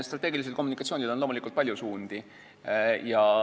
Strateegilisel kommunikatsioonil on loomulikult palju suundi.